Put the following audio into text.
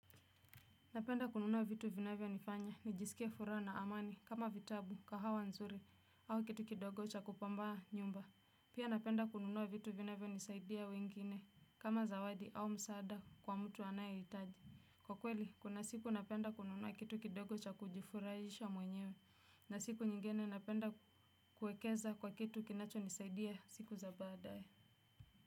Napenda kununua vitu vinavyo nifanya, nijisikie furaa na amani, kama vitabu, kahawa nzuri, au kitu kidogo cha kupambaa nyumba. Pia napenda kununua vitu vinavyo nisaidia wengine, kama zawadi au msaada kwa mtu anayeitaji. Kwa kweli, kuna siku napenda kununua kitu kidogo cha kujifuraisha mwenyewe. Na siku nyingene napenda kuekeza kwa kitu kinacho nisaidia siku za badae.